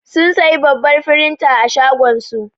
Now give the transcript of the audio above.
Sun sayi babbar firinta a shagon su